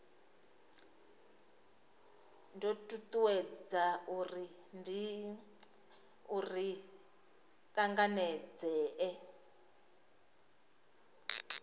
do tutuwedza uri ri tanganedzee